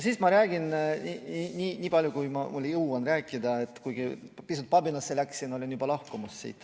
Siis ma räägin nii palju, kui ma jõuan rääkida, kuigi läksin pisut pabinasse, olin juba lahkumas.